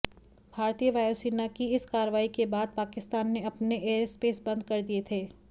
भारतीय वायुसेना की इस कार्रवाई के बाद पाकिस्तान ने अपने एयरस्पेस बंद कर दिए थे